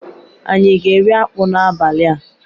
Anyi aga eri akpu n'abali a?